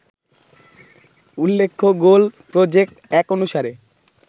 উল্লেখ্য goal project ১ অনুসারে